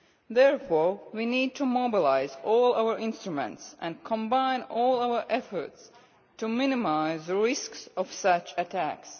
Therefore, we need to mobilise all our instruments and combine all our efforts to minimise the risks of such attacks.